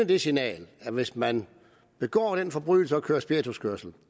det signal at hvis man begår den forbrydelse at køre spirituskørsel